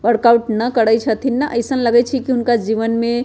और कल्पना करै छथीन न ऐसन लगैछि की उनका जीवन में --